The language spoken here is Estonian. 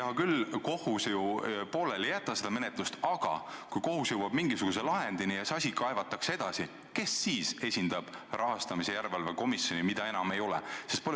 Hea küll, kohus ju pooleli ei jäta menetlust, aga kui kohus jõuab mingisuguse lahendini ja see asi kaevatakse edasi, kes siis esindab rahastamise järelevalve komisjoni, mida enam ei ole?